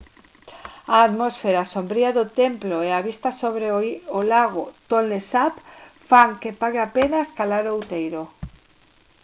a atmosfera sombría do templo e a vista sobre o lago tonle sap fan que pague a pena escalar o outeiro